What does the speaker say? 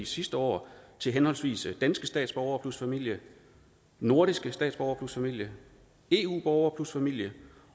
sidste år til henholdsvis danske statsborgere plus familie nordiske statsborgere plus familie eu borgere plus familie